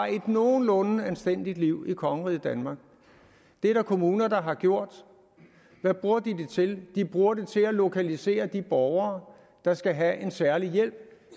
nogenlunde anstændigt liv i kongeriget danmark det er der kommuner der har gjort hvad bruger de det til de bruger det til at lokalisere de borgere der skal have en særlig hjælp